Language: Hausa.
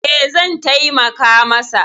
E, zan taimaka masa.